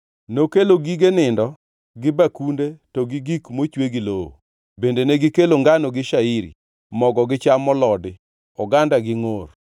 nokelo gige nindo gi bakunde to gi gik mochwe gi lowo. Bende negikelo ngano gi shairi, mogo gi cham molodi, oganda gi ngʼor,